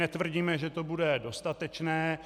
Netvrdíme, že to bude dostatečné...